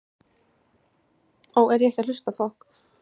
Það er væntanlega illa farið?